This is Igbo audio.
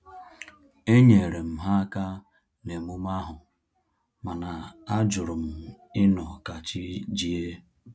Enyere m ha aka na-emume ahu, mana ajurum ịnọ ka chi jie